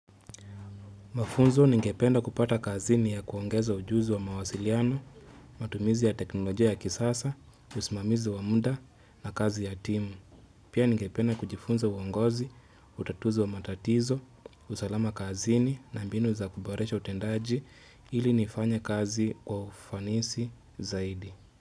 Mafunzo ninge penda kupata kazini ya kuongeza ujuzi wa mawasiliano, matumizi ya teknolojia ya kisasa, usimamizi wa muda na kazi ya timu. Pia ninge penda kujifunza uongozi, utatuzi wa matatizo, usalama kazini na mbinu za kuboresha utendaji ili nifanye kazi wa ufanisi zaidi.